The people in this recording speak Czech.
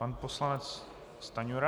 Pan poslanec Stanjura.